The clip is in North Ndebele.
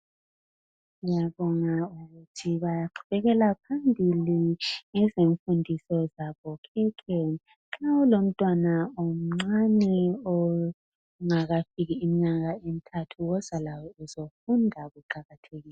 Ngiyabonga ukuthi baqhubekela phambili ngezimfundiso zabokhekhe. Nxa ulomntwana omncane kumbe ongakafiki inyanga ezintathu woza laye ukuzofunda kuqakathekile.